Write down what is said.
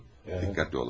Diqqətli olun.